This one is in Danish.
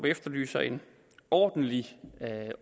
efterlyser en ordentlig